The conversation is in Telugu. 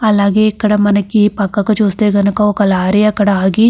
అలాగే మనకి ఇక్కడ పక్కకి చూస్తే కనక ఒక లారీ అక్కడ ఆగి.